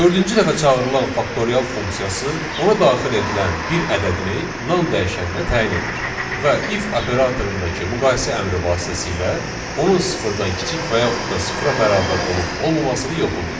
Dördüncü dəfə çağırılan faktorial funksiyası ona daxil edilən bir ədədini nan dəyişəninə təyin edir və if operatorundakı müqayisə əmri vasitəsilə onun sıfırdan kiçik və yaxud da sıfıra bərabər olub olmamasını yoxlayır.